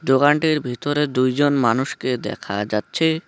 দোকানটির ভিতরে দুই জন মানুষকে দেখা যাচ্ছে।